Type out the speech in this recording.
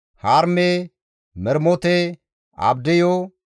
Harime, Mermote, Abdiyu,